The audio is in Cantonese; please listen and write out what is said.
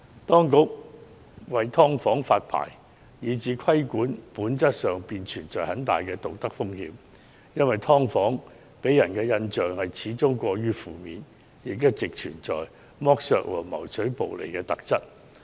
當局為"劏房"發牌以至規管，本質上會帶來很大的道德風險，因為"劏房"給人的印象始終過於負面，亦一直具有剝削和謀取暴利的特質。